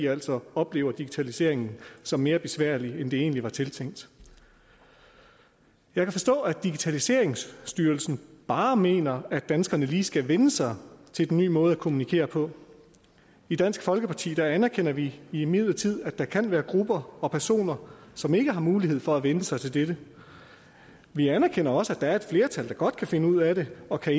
altså oplever digitaliseringen som mere besværlig end det egentlig var tiltænkt jeg kan forstå at digitaliseringsstyrelsen bare mener at danskerne lige skal vænne sig til den nye måde at kommunikere på i dansk folkeparti anerkender vi imidlertid at der kan være grupper og personer som ikke har mulighed for at vænne sig til dette vi anerkender også at der er et flertal der godt kan finde ud af det og kan